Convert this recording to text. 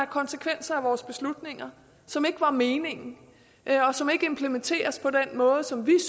konsekvenser af vores beslutninger som ikke var meningen og som ikke implementeres på den måde som vi